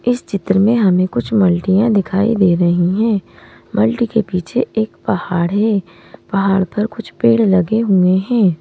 इस चित्र में हमें कुछ माल्टियां दिखाई दे रही हैं मल्टी के पीछे एक पहाड़ है पहाड़ पर कुछ पेड़ लगे हुए हैं।